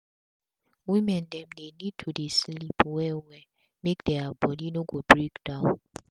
women dem need to dey sleep well well make dia bodi no go break down